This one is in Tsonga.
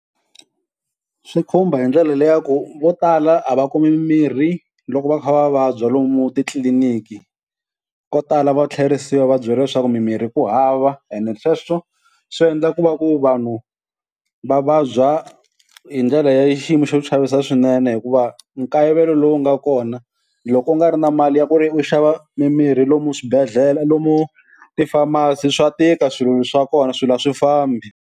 Swi khumba hi ndlela leya ku vo tala a va kumi mimirhi loko va kha va vabya lomu titliliniki. Ko tala va tlherisiwa va byela leswaku mimirhi ku hava ene sweswo swi endla ku va ku vanhu va vabya hi ndlela ya xiyimo xo chavisa swinene, hikuva nkayivelo lowu nga kona loko u nga ri na mali ya ku ri u xava mimirhi lomu swibedhlele lomu ti-pharmacy swa tika swilo swa kona swilo a swi fambi.